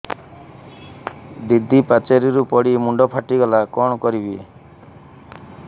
ଦିଦି ପାଚେରୀରୁ ପଡି ମୁଣ୍ଡ ଫାଟିଗଲା କଣ କରିବି